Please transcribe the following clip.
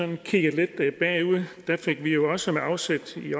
og sige at der fik vi jo også med afsæt i